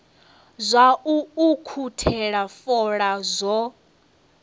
zwa u ukhuthela fola zwo